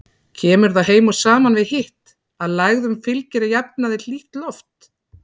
Kemur það heim og saman við hitt, að lægðum fylgir að jafnaði hlýtt loft.